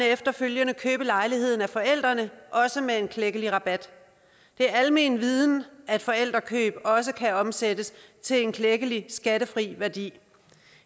efterfølgende købe lejligheden af forældrene også med en klækkelig rabat det er almenviden at forældrekøb også kan omsættes til en klækkelig skattefri værdi